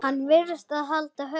Hann varð að halda haus.